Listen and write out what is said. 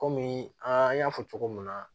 Kɔmi an y'a fɔ cogo min na